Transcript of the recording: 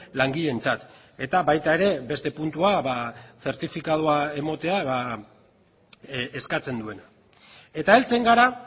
langileentzat eta baita ere beste puntua zertifikatua ematea eskatzen duena eta heltzen gara